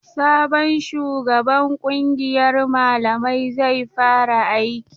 Sabon shugaban kungiyar malamai zai fara aiki.